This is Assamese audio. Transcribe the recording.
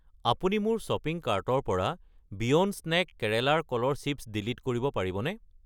আপুনি মোৰ শ্বপিং কাৰ্টৰ পৰা বিয়ণ্ড স্নেক কেৰেলাৰ কলৰ চিপ্ছ ডিলিট কৰিব পাৰিবনে?